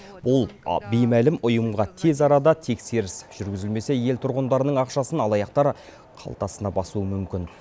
бұл беймәлім ұйымға тез арада тексеріс жүргізілмесе ел тұрғындарының ақшасын алаяқтар қалтасына басуы мүмкін